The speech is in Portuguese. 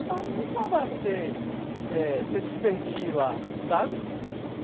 É ma muito mais barato ter eh você se divertir lá, sabe?